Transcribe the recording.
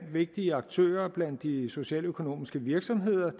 vigtige aktører blandt de socialøkonomiske virksomheder